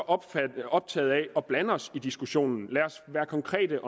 optagede af at blande os i diskussionen lad os være konkrete